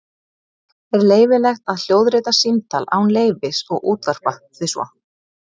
Er leyfilegt að hljóðrita símtal án leyfis og útvarpa því svo?